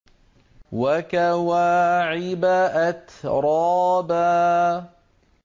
وَكَوَاعِبَ أَتْرَابًا